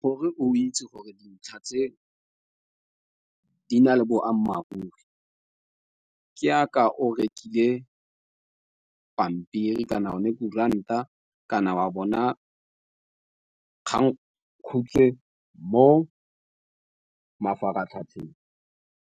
Gore o itse gore dintlha tse di na le boammaaruri ke aka o rekile pampiri kana o ne kuranta kana wa bona kgang khutshwe mo mafaratlhatlheng.